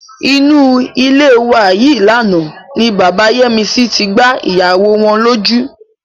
Inú ilé wa yìí lánàá ni bàbá Yẹ́misí tí gbá ìyàwó wọn lójú.